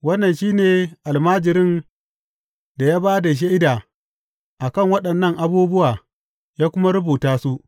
Wannan shi ne almajirin da ya ba da shaida a kan waɗannan abubuwa ya kuma rubuta su.